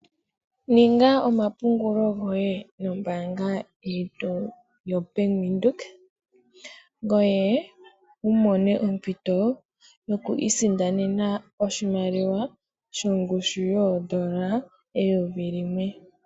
Ninga omapungulo goye nombaanga yetu yoBank Windhoek ngoye wumone ompito yokwiisindanena oshimaliwa shongushu yoondola eyovi limwe.